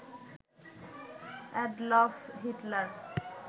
Adolf Hitler